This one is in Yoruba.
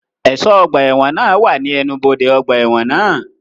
Ẹ̀ṣọ́ ọgbà ẹ̀wọ̀n náà wà ní ẹnubodè ọgbà ẹ̀wọ̀n náà